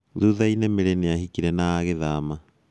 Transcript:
Thutha-inĩ, Mary nĩahikire na agĩthama.